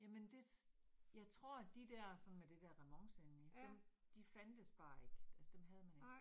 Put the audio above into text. Jamen det, jeg tror de der sådan med det der remonce indeni, dem de fandtes bare ikke. Altså dem havde man ikke